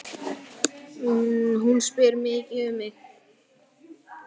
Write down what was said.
Hún spyr mikið um þig.